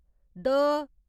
the